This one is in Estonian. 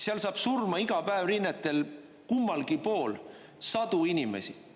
Seal saab surma iga päev rinnetel kummalgi pool sadu inimesi.